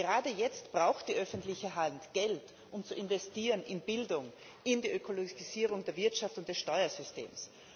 Gerade jetzt braucht die öffentliche Hand Geld, um zu investieren in Bildung, in die Ökologisierung der Wirtschaft und des Steuersystems.